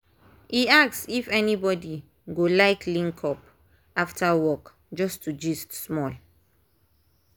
e ask if anybody go like link up after work just to gist small.